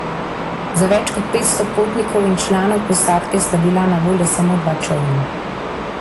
Za več kot petsto potnikov in članov posadke sta bila na voljo samo dva čolna.